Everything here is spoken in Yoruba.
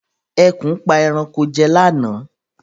Ẹkùn pa ẹranko jẹ lá náà